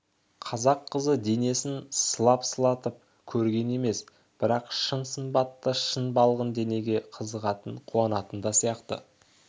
қазақ қызы денесін сылап-сылатып көрген емес бірақ шын сымбатты шын балғын денеге қызығатын қуанатын да сияқты